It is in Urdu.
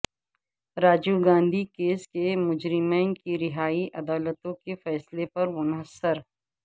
راجیو گاندھی کیس کے مجرمین کی رہائی عدالتوں کے فیصلے پر منحصر